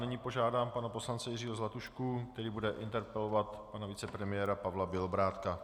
Nyní požádám pana poslance Jiřího Zlatušku, který bude interpelovat pana vicepremiéra Pavla Bělobrádka.